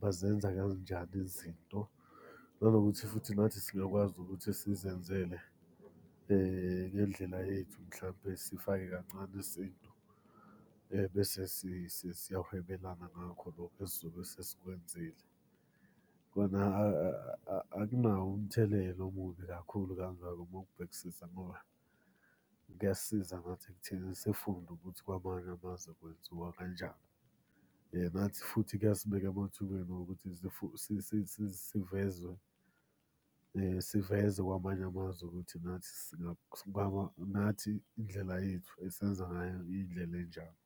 bazenza kanjani izinto, nanokuthi futhi nathi siyakwazi ukuthi sizenzele ngendlela yethu mhlampe sifake kancane isintu. Bese siyahwebelana ngakho lokho esizobe sesikwenzile. Kona akunawo umthelela omubi kakhulu kangako uma ukubhekisisa ngoba kuyasisiza ngathi ekutheni sifunde ukuthi kwamanye amazwe kwenziwa kanjani. Nathi futhi kuyasibeka emathubeni wokuthi sivezwe siveze kwamanye amazwe ukuthi nathi nathi indlela yethu esenza ngayo indlela enjani.